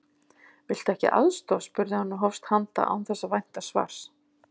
Viltu ekki aðstoð? spurði hann og hófst handa án þess að vænta svars.